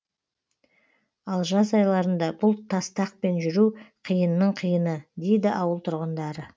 ал жаз айларында бұл тастақпен жүру қиынның қиыны дейді ауыл тұрғындары